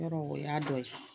Yɔrɔ o y'a dɔ ye